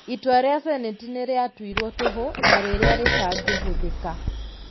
Itua rĩa Seneti nĩ rĩatuirwo toho na rĩrĩa rĩtangĩhũthika.